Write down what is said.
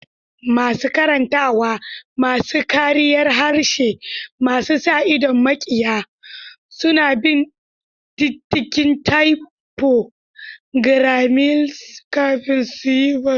Masu karantawa, masu kariyar harshe masu sa idon mikiya, suna bin diddigin typo gremlins kafin su yi barna.